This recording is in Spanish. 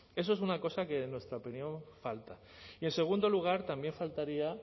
eso es una cosa que en nuestra opinión falta y en segundo lugar también faltaría